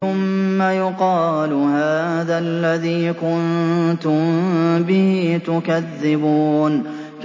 ثُمَّ يُقَالُ هَٰذَا الَّذِي كُنتُم بِهِ تُكَذِّبُونَ